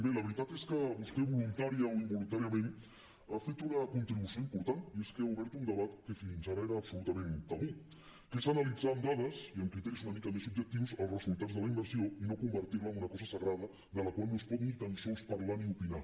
bé la veritat és que vostè voluntàriament o involuntàriament ha fet una contribució important i és que ha obert un debat que fins ara era absolutament tabú que és analitzar amb dades i amb criteris una mica més objectius els resultats de la immersió i no convertir la en una cosa sagrada de la qual no es pot ni tan sols parlar ni opinar